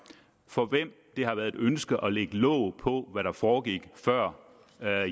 for hvem det har været ønsket at lægge låg på hvad der foregik før